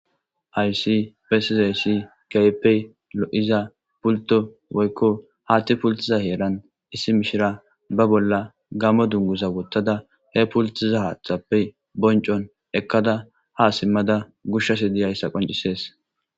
ayssi pessizayssi keepey lo7iza pulto woykko haatti pultiza heeran issi mishira ba bolla gammo dunguza wottada he pultiza haaththappe bonccon ekkada ha simmada gushshasi di ayssa qoncisees